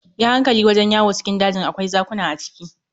Yi hankali wajen yawo cikin dajin, akwai zakuna a ciki.